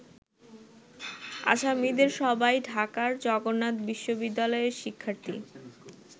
আসামীদের সবাই ঢাকার জগন্নাথ বিশ্ববিদ্যালয়ের শিক্ষার্থী।